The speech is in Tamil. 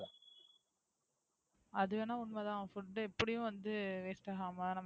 அது வேணா உண்மை தான். Food எப்படியும் வந்து Waste ஆகாம